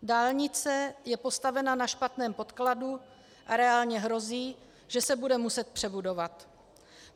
Dálnice je postavena na špatném podkladu a reálně hrozí, že se bude muset přebudovat.